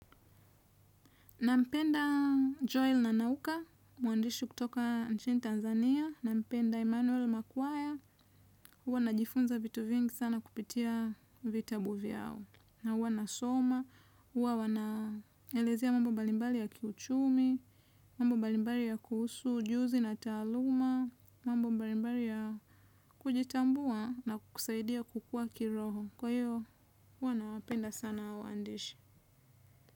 Nampenda Joel na Nauka, mwandishi kutoka nchini Tanzania. Nampenda Emmanuel Makwaya, huwa najifunza vitu vingi sana kupitia vitabu vyao. Na huwa nasoma, huwa wanaelezea mambo mbalimbali ya kiuchumi, mambo mbalimbali yakuhusu, ujuzi na taaluma, mambo mbalimbali ya kujitambua na kukusaidia kukua kiroho. Kwa hiyo, huwa nawapenda sana hao waandishi.